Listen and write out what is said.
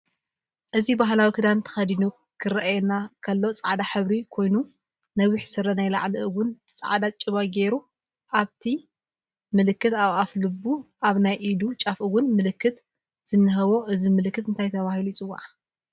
እዚ ባህላዊ ክዳን ተክዲኑ ክርአየና ከሉ ፃዕዳ ሕብሪ ኮኑ ነውሕ ሰረ ናይ ላዕሊ እውን ፃዕዳ ጭባ ገይሩ ኣፍቲ ምልክት ኣብ ኣፍ ሉቡ ኣብ ናይ ኢዱ ጫፍ እውን ምልክት ዝንህዎ እዚ ምልክት እንታይ ተበሂሉ ይፅዋዕ